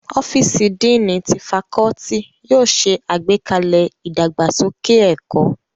Ọ́fíìsì Díìnì ti fakọ́ọ́tì yóò ṣe àgbékalẹ̀ ìdàgbàsókè ẹ̀kọ́.